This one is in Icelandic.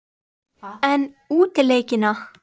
En útileikina?